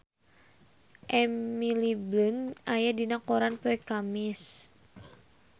Emily Blunt aya dina koran poe Kemis